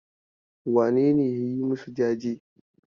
Wane ne ya yi masu jajen?